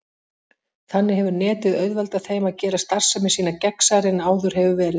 Þannig hefur Netið auðveldað þeim að gera starfsemi sína gegnsærri en áður hefur verið.